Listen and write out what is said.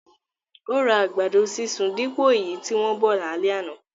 Ó ra àgbàdo sísun dípò èyí tí wọ́n bọ̀ lálẹ́ àná